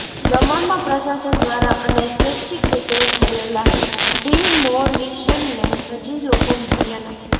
દમણમાં પ્રશાસન દ્વારા અને સ્વૈચ્છિક રીતે થયેલા ડિમોલિશનને હજી લોકો ભૂલ્યા નથી